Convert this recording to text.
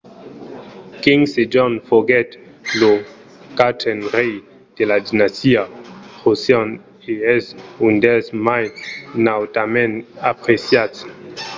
king sejong foguèt lo quatren rei de la dinastia joseon e es un dels mai nautament apreciats